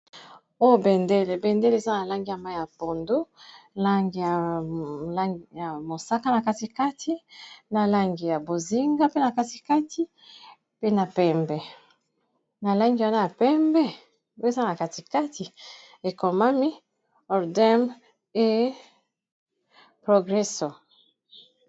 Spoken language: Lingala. Oyo bendele bendele eza na langi ya mayi ya pondu langi langi ya mosaka na katikati na langi ya bozinga mpe na katikati pe na pembe na langi wana ya pembe pe za na katikati ekomami ordem e progresso.